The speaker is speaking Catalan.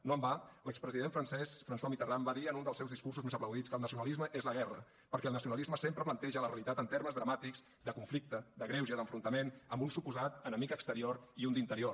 no en va l’expresident francès françois mitterrand va dir en un dels seus discursos més aplaudits que el nacionalisme és la guerra perquè el nacionalisme sempre planteja la realitat en termes dramàtics de conflicte de greuge d’enfrontament amb un suposat enemic exterior i un d’interior